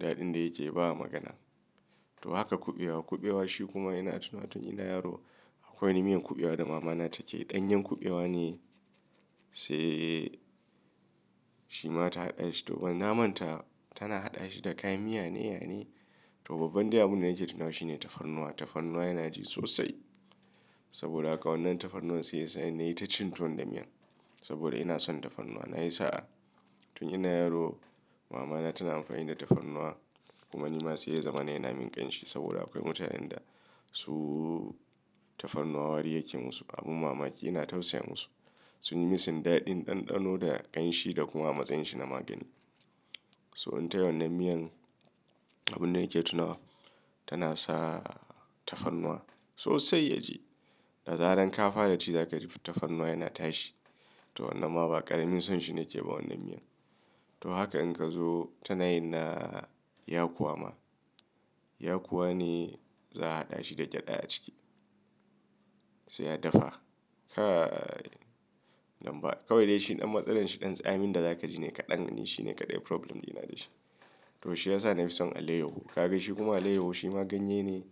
Daɗin da yake yi ba a magana. To haka kuɓewa. Kuɓewa shi kuma ina tunanin tun ina yaro akwai wani miyan kuɓewa da mama na take ɗanyen kuɓewa ne sai shi ma ta haɗa shi. To wannan naman ta tana haɗa shi da kayan miya ne, ya ne. To babban dai abin da nake tunawa shi ne tafarnuwa. Tafarnuwa yana ji sosai. Saboda haka wannan tafarnuwan sai yasa ni na yi ta cin tuwon da miya. Saboda ina son tafarnuwa. Na yi sa'a. Tun ina yaro, mama na tana amfani da tafarnuwa kuma ni ma sai ya zama ina min ƙanshi saboda akwai mutanen da su tafarnuwa wari yake musu. Abin mamaki. Ina tausaya musu. Sun yi masa inda daɗin ɗanɗano da ƙanshi da kuma matsayin shi na magani. So in tai wannan miyan, abin da nake tunawa tana sa tafarnuwa sosai ya ji. Da zarar ka fara ci za ka ji tafarnuwa yana tashi. To wannan ma ba ƙaramin son shi ne yake ba wannan miyan. To haka in ka zo ta na yin na yakuwa ma. Yakuwa ne za a haɗa shi da gyaɗa a ciki. Sai ya dafa. Kai, nan ba. Kawai dai shi ɗan matsalar shi ɗan tsamin da za ka ji ne kaɗan. Wannan shi ne kaɗai problem ɗina da shi. To shi ya sa na fi son alayyahu. Ka ga shi kuma alayyahu shi ma ganye ne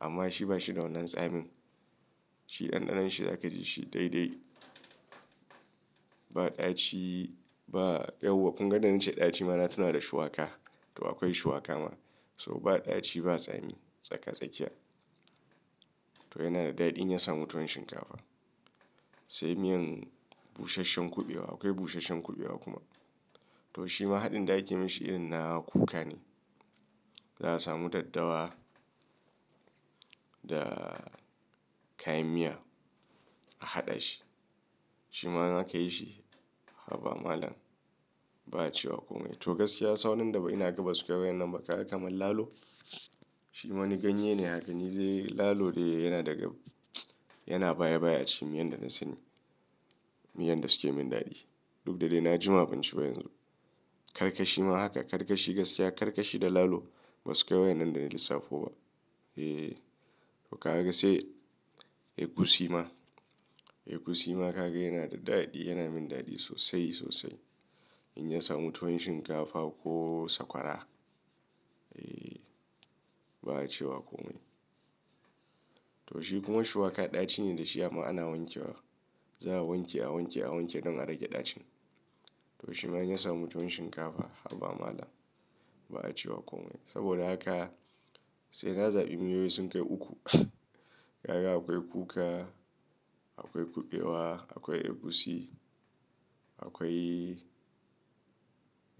amma shi ba shi da wannan tsamin. Shi ɗanɗanon shi za ka ji shi daidai. Ba ɗaci ba, yauwa. Kun ga nan ace ɗaci ma na tuna da shuwaƙa. To akwai shuwaƙa ma. So ba ɗaci ba, tsami. Tsaka tsakiya. To yana da daɗi inya sa mu tuwon shinkafa. Sai miyan busasshen kuɓewa. Akwai busasshen kuɓewa kuma. To shi ma haɗin da ake mishi irin na kuka ne. Za a samu daddawa da kayan miya a haɗa shi. Shi ma za ka yi shi. Haba malam. Ba a cewa komai. To gaskiya sauran da ba ina gaba sukai waƴannan ba kaga kamar lalo. Shi wani ganye ne. Haka ni dai lalo dai yana daga, yana baya baya a cikin miyan da na sani. Miyan da suke min daɗi. Duk da dai na ji ma ban ci ba yanzu. Karkashi ma haka. Karkashi gaskiya karkashi da lalo ba suke wai wannan da na lissafo ba. Eh. To ka ga sai egusi ma. Egusi ma ka ga yana da daɗi, yana min daɗi sosai sosai. In ya samu tuwon shinkafa ko sakwara. Eh. Ba a cewa komai. To shi kuma shuwaƙa ɗaci ne da shi amma ana wanke wa. Za a wanke, a wanke, a wanke don a rage ɗacin. To shi ma in ya samu tuwon shinkafa. Haba malam. Ba a cewa komai. Saboda haka sai na zaɓi miyoyi sun kai uku. Ka ga akwai kuka, akwai kuɓewa, akwai egusi, akwai,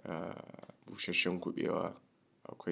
ah, busasshen kuɓewa akwai.